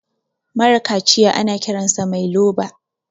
mara kaciya ana Kiransa Mai loba